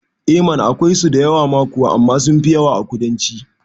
Eh mana akwai so da yawa ma kuwa amma sunfi yawa a ƙudanci